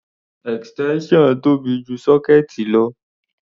Extension tóbi ju sọ́kéẹ̀tì lọ.